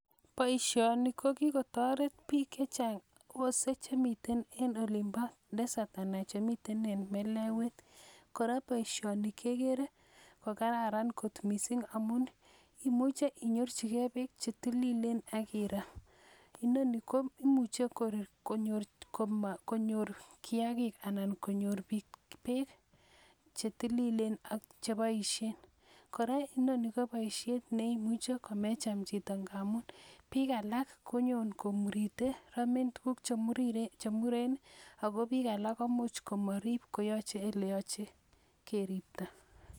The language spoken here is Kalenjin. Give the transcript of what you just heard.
Boisioni kokikotoret biik chechang wose chemiten en olin bo desert anan chemiten en melewet kora boisioni kekere kokararan kot missing amun imuche inyorchigee beek chetililen ak iram inoni ko imuche konyor kiagik anan konyor biik beek chetililen ak cheboisien kora inoni ko boisiet neimuche komecham chito amun biik alak konyon komurite romen tuguk chemuren ako biik alak komuch komorib koyoche eleoche keripto